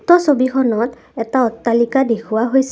উক্ত ছবিখনত এটা অট্টালিকা দেখুওৱা হৈছে।